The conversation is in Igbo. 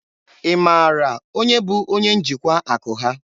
Ị mara onye bụ onye njikwa akụ ha?